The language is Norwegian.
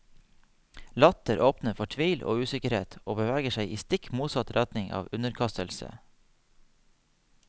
Latter åpner for tvil og usikkerhet og beveger seg i stikk motsatt retning av underkastelse.